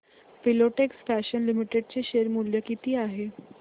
Filatex fashions limited चे share मूल्य किती आहे